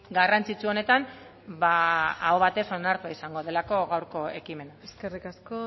garrantzitsu honetan ba aho batez onartua izango delako gaurko ekimena eskerrik asko